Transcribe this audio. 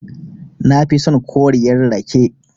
Nafi son koriyar rake.